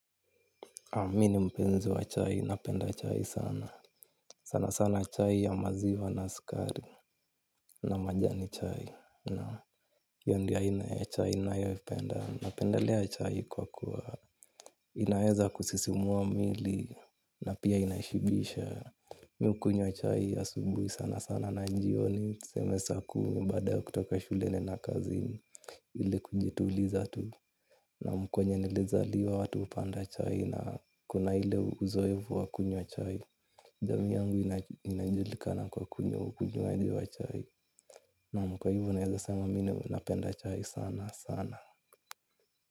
Amini mpenzi wa chai, napenda chai sana. Sana sana chai ya maziwa na sukari na majani chai. Naam hiyo ndo a ina ya chai na yoi penda. Napendelea chai kwa kuwa inaweza kusisismua mwili na pia inazibisha. Mi ukunywa chai a subuhi sana sana na njioni. Tuseme saa kumi baada ya kutoka shule naenda kazini ili kujituliza tu naam kwenye nilizaliwa watu hupanda chai na kuna ile uzoefu wa kunywa chai. Jamii yangu inajulikana kwa kunywa ukunywaji wa chai. Naam kwa naeza sema mine napenda chai sana sana.